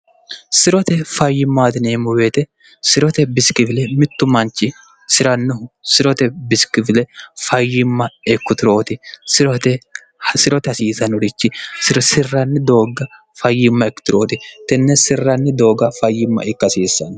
sirote fayyimmaatineemmu beete sirote bisikifile mittu manchi sirannihu sirote bisikifile fayyimma ekkutirooti sirote hasiisanurichi irosirranni doogga fayyimma ikkitirooti tenne sirranni doogga fayyimma ikkasiissanno